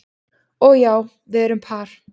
Og já, við erum par